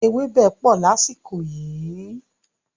Ewébẹ̀ pọ̀ lásìkò yìí.